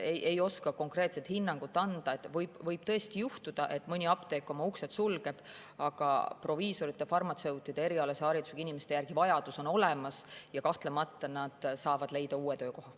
Ei oska konkreetset hinnangut anda, võib tõesti juhtuda, et mõni apteek oma uksed sulgeb, aga vajadus proviisori‑ ja farmatseudiharidusega inimeste järele on olemas ja kahtlemata nad saavad leida uue töökoha.